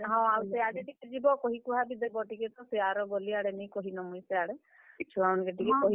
ହଁ ସେ ଆଡେ ଟିକେ ଯିବ ଆଉ କହି କୁହା ବି ଦେବ ଟିକେ ତ, ସେ ଆର ଗଲି ଆଡେ ନିଁ କହି ନ ମୁଇଁ ସେ ଆଡେ ଇ ଛୁଆ ମାନଙ୍କୁ ଟିକେ କହିଦେବ।